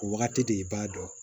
O wagati de i b'a dɔn